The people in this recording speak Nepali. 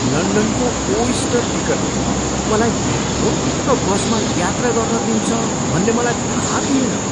लन्डनको ओइस्टर टिकटले मलाई मेट्रो र बसमा यात्रा गर्न दिन्छ भन्ने मलाई थाहा थिएन।